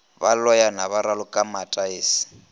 ba loyana ba raloka mataese